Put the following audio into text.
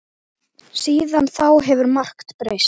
Síðan þá hefur margt breyst.